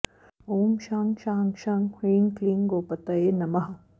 ॐ शं शां षं ह्रीं क्लीं गोपतये नमः